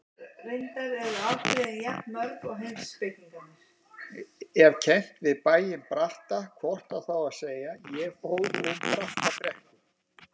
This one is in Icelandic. Ef kennt við bæinn Bratta hvort á þá að segja: ég fór um Brattabrekku.